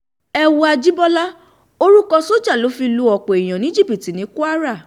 ẹ wo àjibọlá orúkọ sójà ló fi lu ọ̀pọ̀ èèyàn ní jìbìtì ní kwara